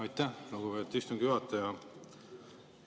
Aitäh, lugupeetud istungi juhataja!